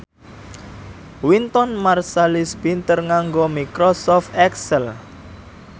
Wynton Marsalis pinter nganggo microsoft excel